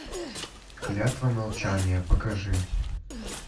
клятва молчания покажи